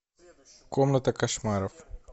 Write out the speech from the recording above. комната кошмаров